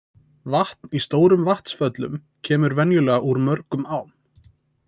Vatn í stórum vatnsföllum kemur venjulega úr mörgum ám.